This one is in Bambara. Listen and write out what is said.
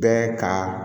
Bɛɛ ka